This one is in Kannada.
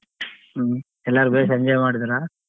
ಹ್ಮ್ ಎಲ್ಲಾರ್ಗುಡಿ enjoy ಮಾಡಿದ್ರ.